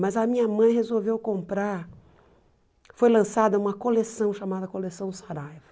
Mas a minha mãe resolveu comprar, foi lançada uma coleção chamada Coleção Saraiva.